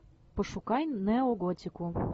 пошукай неоготику